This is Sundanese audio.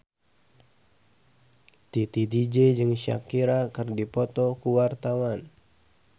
Titi DJ jeung Shakira keur dipoto ku wartawan